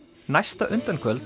næsta